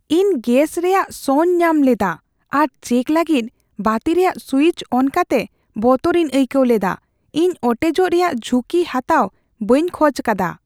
ᱤᱧ ᱜᱮᱥ ᱨᱮᱭᱟᱜ ᱥᱚᱧ ᱧᱟᱢ ᱞᱮᱫᱟ ᱟᱨ ᱪᱮᱠ ᱞᱟᱹᱜᱤᱫ ᱵᱟᱹᱛᱤ ᱨᱮᱭᱟᱜ ᱥᱩᱭᱤᱪ ᱚᱱ ᱠᱟᱛᱮ ᱵᱚᱛᱚᱨᱤᱧ ᱟᱹᱭᱠᱟᱹᱣ ᱞᱮᱫᱟ ᱾ ᱤᱧ ᱚᱴᱮᱡᱚᱜ ᱨᱮᱭᱟᱜ ᱡᱷᱩᱸᱠᱤ ᱦᱟᱛᱟᱣ ᱵᱟᱹᱧ ᱠᱷᱚᱡ ᱟᱠᱟᱫᱟ ᱾